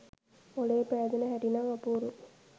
මොලේ පෑදෙන හැටි නම් අපූරුයි